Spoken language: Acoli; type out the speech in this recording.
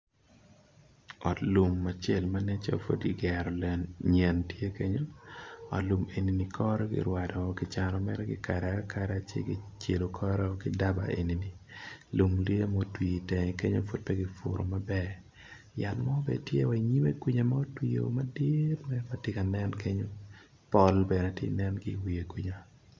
Ot lum acel ma nen calo pud kigero nyen tye kenyo ot lum eni kore kirwado kicano mere ki kado akada ci kicelo kore ki daba eni lum tye ma otwi itenge kenyo pud pe ki puru maber yat mo bene tye wa i nyime kwica ma otwio madit matye ka nen kenyo pol bene tye ka nen ki wiye kwica.